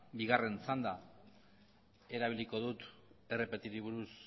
bigarren txanda erabiliko dut rpti buruz